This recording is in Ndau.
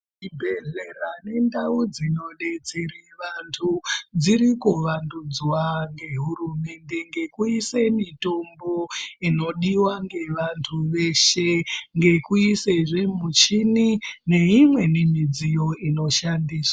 Zvibhedhlera nendau dzinosetsera vantu dzirikuvandudzwa ngeHurumende ngekuisa mitombo inodiwa ngevantu veshe nekuisazve michini neimweni midziyo inoshandiswa.